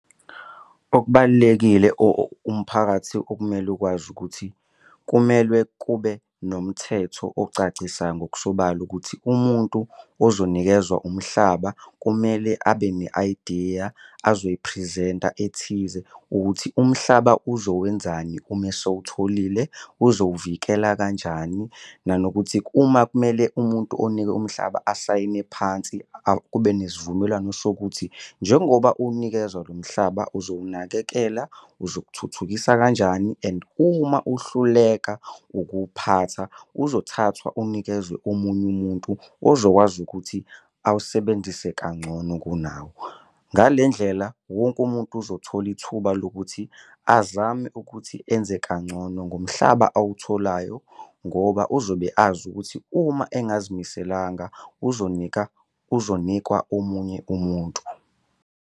Okubalulekile umphakathi okumele ukwazi ukuthi kumele kube nomthetho ocacisa ngokusobala ukuthi umuntu ozonikezwa umhlaba kumele abe ne-ayidiya azoyiphrizenta ethize ukuthi umhlaba uzowenzani uma esewutholile uzowuvikela kanjani. Nanokuthi uma kumele umuntu onikwe umhlaba asayine phansi kube nesivumelwano sokuthi njengoba unikezwa lo mhlaba uzowunakekela uzokuthuthukisa kanjani. And uma uhluleka ukuphatha uzothathwa unikezwe omunye umuntu ozokwazi ukuthi awusebenzise kangcono kunawe. Ngale ndlela wonke umuntu uzothola ithuba lokuthi azame ukuthi enze kangcono ngomhlaba awutholayo ngoba uzobe azi ukuthi uma engazimiselanga uzonika uzonikwa omunye umuntu.